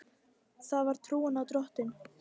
Það var trúin á Drottin.